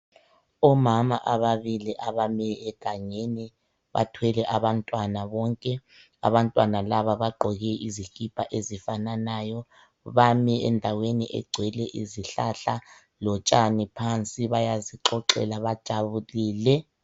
Omama ababili abami egangeni, bathwele abantwana bonke, abantwana laba bagqoke izikipa ezifananayo. Bami endaweni egcwele izihlahla lotshani phansi bayazixoxela, bajabulile